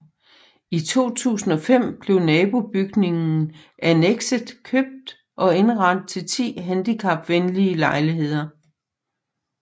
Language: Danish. I 2005 blev nabobygningen Annekset købt og indrettet til 10 handicapvenlige lejligheder